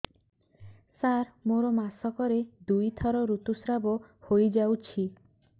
ସାର ମୋର ମାସକରେ ଦୁଇଥର ଋତୁସ୍ରାବ ହୋଇଯାଉଛି